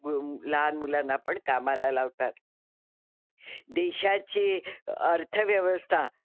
मु लहान मुलांना पण कामाला लावतात. देशाची अर्थव्यवस्था,